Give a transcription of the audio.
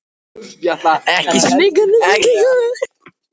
Ekki spenna- þetta er ekkert merkilegt.